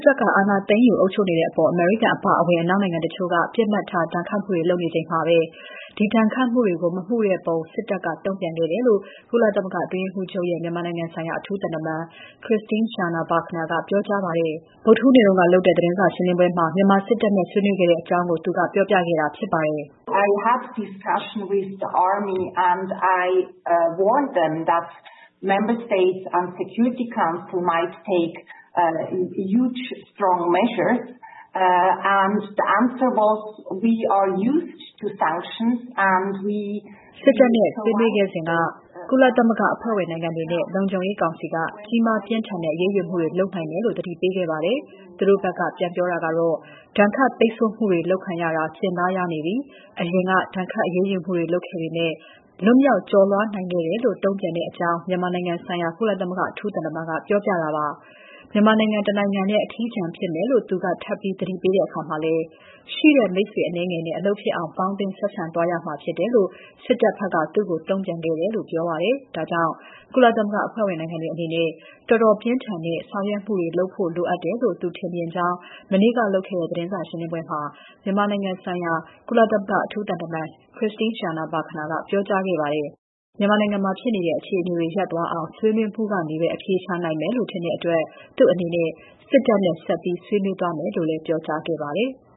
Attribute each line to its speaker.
Speaker 1: ်တပ်က အာဏာသိမ်းယူ အုပ်ချုပ်နေတဲ့အပေါ် အမေရိကန်အပါအဝင် အနောက်နိုင်ငံတချို့က ပစ်မှတ်ထားဒဏ်ခတ်မှုတွေ လုပ်နေချိန်မှာပဲ ဒီဒဏ်ခတ်မှုတွေကို မမှုတဲ့ပုံစစ်တပ်က တုံ့ပြန်ခဲ့တယ်လို့ ကုလသမဂ္ဂအတွင်းရေးမှူးချုပ်ရဲ့ မြန်မာနိုင်ငံဆိုင်ရာ အထူးသံတမန် Christine Schraner Burgener ကပြောကြားပါတယ်။ မြန်မာစစ်တပ်နဲ့ ဆွေးနွေးခဲ့တဲ့အကြောင်း ဗုဒ္ဓဟူးနေ့က လုပ်တဲ့ သတင်းစာရှင်းပွဲမှာ သူကပြောပြခဲ့တာဖြစ်ပါတယ်။ "
Speaker 2: စစ်တပ်နဲ့ ဆွေးနွေးခဲ့စဉ်က ကုလသမဂ္ဂအဖွဲ့
Speaker 1: ဝင်နိုင်ငံတွေနဲ့ လုံခြုံရေးကောင်စီက ကြီးမား ပြင်းထန်တဲ့ အရေးယူမှုတွေ လုပ်နိုင်တယ်လို့ သတိပေးခဲ့ပါတယ်။ သူတို့ဘက်က ပြန်ပြောတာကတော့ ဒဏ်ခတ်ပိတ်ဆို့မှုတွေ လုပ်ခံရတာ ကျင့်သားရနေပြီ။ အရင်က ဒဏ်ခတ်အရေးယူမှုတွေ လုပ်ခဲ့ပေမဲ့ လွန်မြောက် ကျော်လွှားနိုင်ခဲ့တယ်ဆိုပြီး တုံ့ပြန်တယ်။" လို့ မြန်မာနိုင်ငံဆိုင်ရာ ကုလအထူးသံတမန်က ပြောပြတာပါ။ မြန်မာနိုင်ငံ တနိုင်ငံထဲ အထီးကျန်ဖြစ်မယ်လို့ သူက ထပ်ပြီး သတိပေးတဲ့အခါမှာလည်း ရှိတဲ့ မိတ်ဆွေအနည်းငယ်နဲ့ အလုပ်ဖြစ်အောင် ပေါင်းသင်းဆက်ဆံသွားရမှာဖြစ်တယ်လို့ စစ်တပ်ဘက်က သူ့ကို တုံ့ပြန်ခဲ့တယ်လို့ ပြောပါတယ်။ ဒါကြောင့် ကုလသမဂ္ဂအဖွဲ့ဝင်နိုင်ငံတွေအနေနဲ့ တော်တော်လေးပြင်းထန်တဲ့ ဆောင်ရွက်မှုတွေလုပ်ဖို့ လိုအပ်တယ်လို့ သူထင်မြင်ကြောင်း မနေ့ကလုပ်တဲ့ သတင်းစာရှင်းပွဲမှာ မြန်မာနိုင်ငံဆိုင်ရာ အထူးသံတမန် Christine Schraner Burgener က ပြောကြားခဲ့ပါတယ်။ မြန်မာနိုင်ငံမှာဖြစ်နေတဲ့ အခြေအနေတွေ ရပ်သွားအောင် ဆွေးနွေးမှုကနေပဲ အဖြေရှာနိုင်မယ်လို့ ထင်တဲ့အတွက် သူ့အနေနဲ့ စစ်တပ်နဲ့ ဆက်ပြီး ဆွေးနွေးသွားမယ်လို့လည်း ပြောကြားခဲ့ပါတယ်။